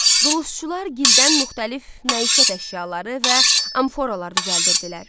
Dulusçular gildən müxtəlif məişət əşyaları və amforalar düzəldirdilər.